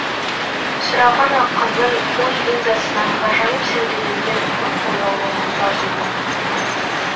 сұраған ақынның ой линзасынан ғажайып сәулеленген мың бояулы мұнтаз өлең